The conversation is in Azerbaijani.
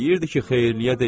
Deyirdi ki, xeyirliyə deyil.